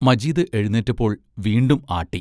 മജീദ് എഴുന്നേറ്റപ്പോൾ വീണ്ടും ആട്ടി